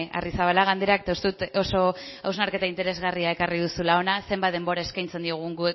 arrizabalaga andereak eta uste dut oso hausnarketa interesgarria ekarri duzula hona zenbat denbora eskaintzen diogun